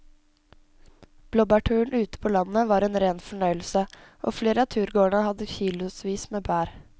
Blåbærturen ute på landet var en rein fornøyelse og flere av turgåerene hadde kilosvis med bær.